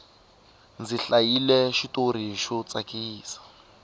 ndzi hlayile xitori xo tsakisa